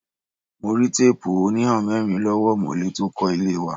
Mo rí teepu onihamerin lọ́wọ́ omole tó kó ilé wa.